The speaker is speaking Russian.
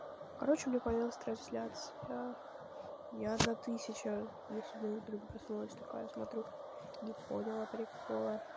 короче у меня появилась трансляция я за тысяча я сегодня утром проснулась такая смотрю не поняла прикола